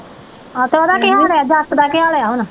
ਹਾਂ ਤੇ ਉਹਦਾ ਕੀ ਹਾਲ ਹੈ ਜੱਸ ਦਾ ਕੀ ਹਾਲ ਹੈ ਹੁਣ?